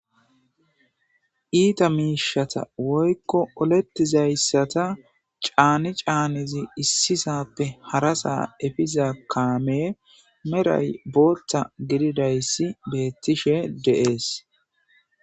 Iita miishata woykko olettizayssata caani caanizi issisappe harasaa efiza kaame meray boolta gididayssi beettishe dees.